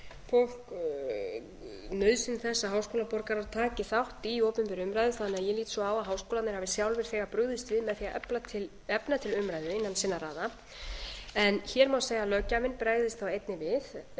og nauðsyn þess að háskólaborgarar taki þátt í opinberri umræðu þannig að ég lít svo á að háskólarnir hafi sjálfir þegar brugðist við með því að efna til umræðu innan sinna raða en hér má segja að löggjafinn bregðist þá einnig við með því að